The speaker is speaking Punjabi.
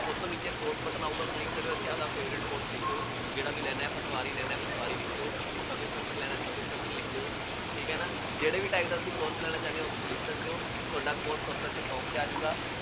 ਸਭ ਤੋਂ ਨੀਚੇ course ਆਊਗਾ, click ਕਰਿਉ, ਇੱਥੇ, ਆਪਦਾ favorite course ਲਿਖਿਉ, ਜਿਹੜਾ ਵੀ ਲੈਣਾ ਹੈ, ਪਟਵਾਰੀ ਲੈਣਾ, ਪਟਵਾਰੀ ਲਿਖ ਦਿਉ, sub inspector ਲੈਣਾ, sub inspector ਲਿਖ ਦਿਉ, ਠੀਕ ਹੈ ਨਾ, ਜਿਹੜੇ ਵੀ title ਵਿੱਚ course ਲੈਣਾ ਚਾਹੁੰਦੇ ਹੋ, ਉਸ ਚ ਲਿਖ ਸਕਦੇ ਹੋ, ਤੁਹਾਡਾ course ਉਹ ਚ ਸਭ ਤੋਂ top ਤੇ ਆ ਜਾਊਗਾ।